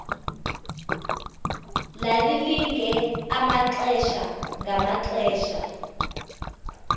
lalilinge amaxesha ngamaxesha